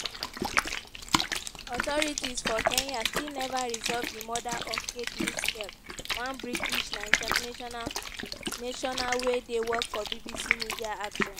authorities for kenya still neva resolve di murder of kate mitchell one british national national wey dey work for bbc media action.